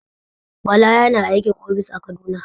Bala yana aikin ofis a kaduna.